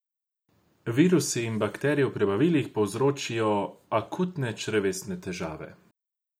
Virusi in bakterije v prebavilih povzročijo akutne črevesne težave.